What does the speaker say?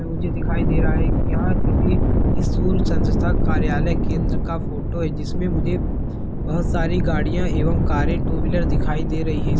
मुझे दिखाई दे रहा है की यहाँ किसी स्कूल चंदता कार्यालय केंद्र का फोटो है जिसमे मुझे बहोत सारी गाड़ियाँ एवं कारे टू व्हीलर दिखाई दे रही है।